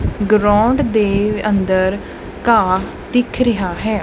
Ground ਦੇ ਅੰਦਰ ਘਾਹ ਦਿੱਖ ਰਿਹਾ ਹੈ।